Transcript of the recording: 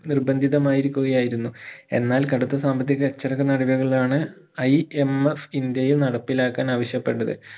നിർബന്ധിത മായിരിക്കുകയായിരുന്നു എന്നാൽ കടുത്ത സാമ്പത്തിക നാടുകകളാണ് IMS ഇന്ത്യയിൽ നടപ്പിലാക്കാൻ ആവിശ്യപെട്ടത്